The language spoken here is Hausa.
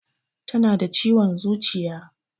Tana da ciwon zuciya